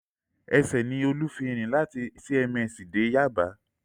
Ẹsẹ̀ ni Olú fi rìn láti CMS dé Yaba